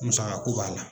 Musaka ko b'a la